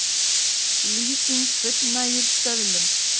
Lýsing fullnægir stöðlum